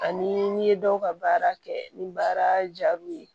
Ani n'i ye dɔw ka baara kɛ ni baara jaabiw ye